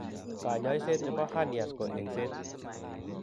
Kanyaiset nebo Hernias ko engset